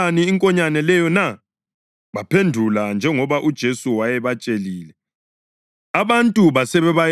Baphendula njengoba uJesu wayebatshelile, abantu basebebayekela bahamba.